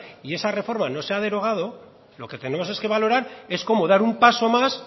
y esa reforma no se ha derogado lo que tenemos es que valorar es cómo dar un paso más